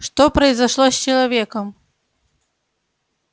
что произошло с человеком